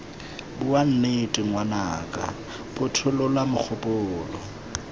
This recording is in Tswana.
bua nnete ngwanaka phothulola mogopolo